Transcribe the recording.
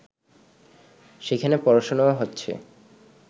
সেখানে পড়াশোনাও হচ্ছে